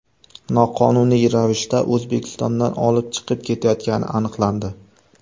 noqonuniy ravishda O‘zbekistondan olib chiqib ketayotgani aniqlandi.